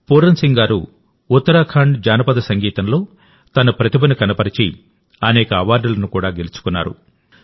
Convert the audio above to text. Pooran Singh గారు ఉత్తరాఖండ్ జానపద సంగీతంలో తన ప్రతిభను కనబరిచి అనేక అవార్డులను కూడా గెలుచుకున్నారు